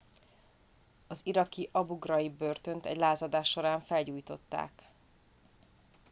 az iraki abu ghraib börtönt egy lázadás során felgyújtották